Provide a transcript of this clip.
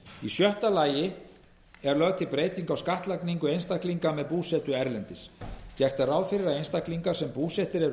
í sjötta lagi er lögð til breyting á skattlagningu einstaklinga með búsetu erlendis gert er ráð fyrir að einstaklingar sem búsettir eru